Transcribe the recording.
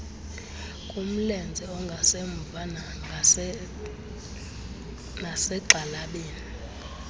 kumlenze ongasemva nasegxalabeni